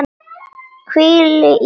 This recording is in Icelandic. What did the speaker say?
Hvíl í friði, kæra.